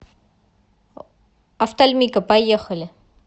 офтальмика поехали